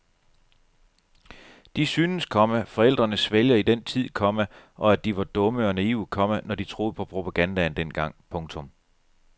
De synes, komma forældrene svælger i den tid, komma og at de var dumme og naive, komma når de troede på propagandaen dengang. punktum